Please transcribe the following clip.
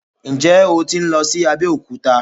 Ǹjẹ́ o tí ń lọ sí Abẹ́òkúta?